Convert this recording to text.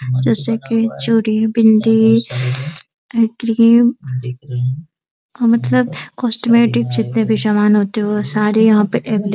जैसे कि चूड़ी बिंदी शीइइ है क्रीम मतलब कॉस्मेटिकस जितने भी सामान होते है वो सारे यहां पे अवेलेब --